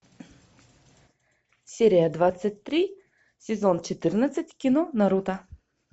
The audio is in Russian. серия двадцать три сезон четырнадцать кино наруто